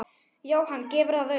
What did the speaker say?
Jóhann: Gefurðu það upp?